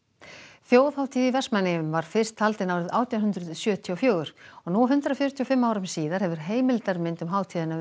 þjóðhátíð í Vestmannaeyjum var fyrst haldin árið átján hundruð sjötíu og fjögur og nú hundrað fjörutíu og fimm árum síðar hefur heimildarmynd um hátíðina